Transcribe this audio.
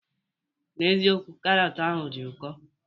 N'eziokwu, karọt ahụ di ụko.